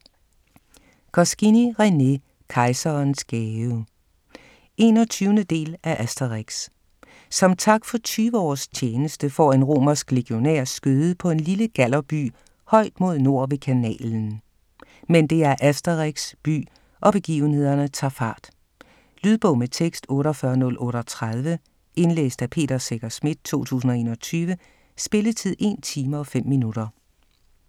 Goscinny, René: Kejserens gave 21. del af Asterix. Som tak for 20 års tjeneste får en romersk legionær skøde på en lille Gallerby højt mod nord ved kanalen - men det er Asterix' by, og begivenhederne tager fart. Lydbog med tekst 48038 Indlæst af Peter Secher Schmidt, 2021. Spilletid: 1 time, 5 minutter.